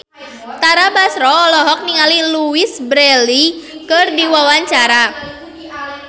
Tara Basro olohok ningali Louise Brealey keur diwawancara